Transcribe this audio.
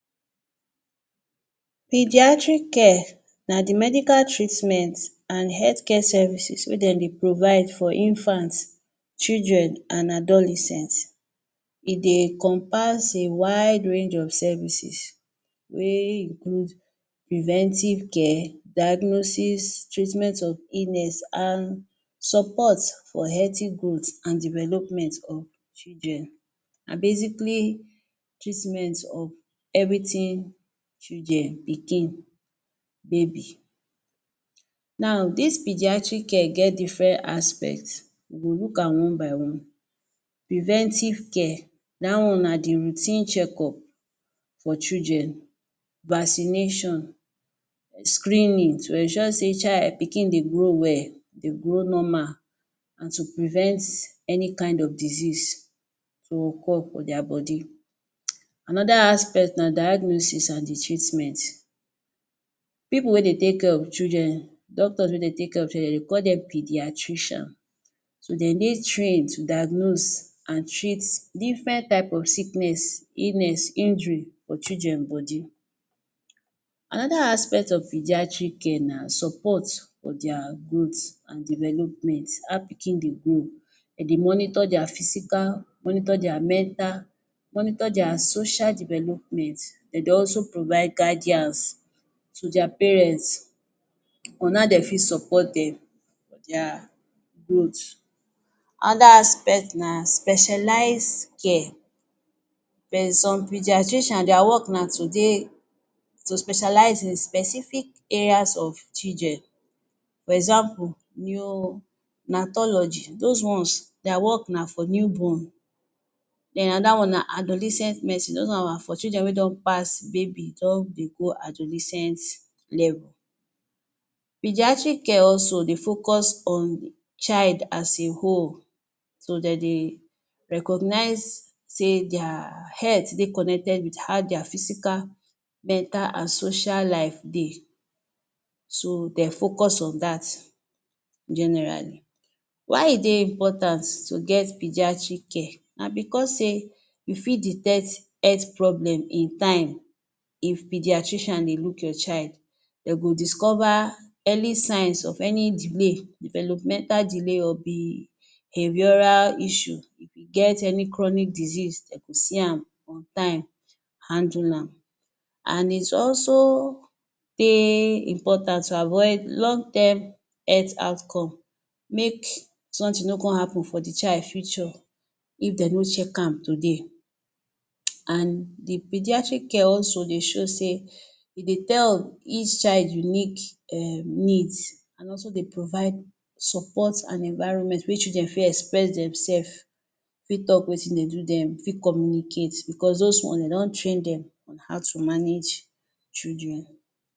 Pediatric care na the medical treatment an health care services wey de dey provide for infant, children an adolescent. E dey encompass a wide range of services wey include preventive care, diagnosis, treatment of illness an support for healthy growth an development of children, an basically treatment of everything children, pikin, baby. Now, dis pediatric care get different aspect. We go look am one by one. Preventive care. Dat one na the routine checkup for children, vaccination, screening to ensure sey child, pikin dey grow well, dey grow normal an to prevent any kind of disease to occurr for dia body. [hiss] Another aspect na diagnosis an the treatment. Pipu wey dey take care of children, doctors wey dey take care of children, de dey call dem pediatrician. so De dey train to diagnose an treat different type of sickness, illness, injury for children body. Another aspect of pediatric care na support for dia growth an development—how pikin dey grow. De dey monitor dia physical, monitor dia mental, monitor dia social development. De dey also provide guidance to dia parents on how de fit support dem, dia growth. Another aspect na specialized care. Some pediatrician, dia work na to dey to specialize in specific areas of children. For example, neonatology. Dos ones, dia work na for newborn. Then another one na adolescent medicine. Dos one na for children wey don pass baby don dey go adolescent level. Pediatric care also dey focus on child as a whole. So, de dey recognize sey dia health dey connected with how dia physical, mental, an social life dey. So, de focus on dat generally. Why e dey important to get pediatric care? Na becos sey you fit detect health problem in time. If pediatrician dey look your child, de go discover early signs of any delay, developmental delay or behavioural issue. If e get any chronic disease, de go see am on time, handle am. An it also dey important to avoid long term health outcome make something no con happen for the child future if de no check am today. [hiss] An the pediatric care also dey show sey e dey tell each child unique um need an also dey provide support an environment wey children fit express demsef, fit talk wetin dey do dem, fit communicate becos dos ones, de don train dem on how to manage children.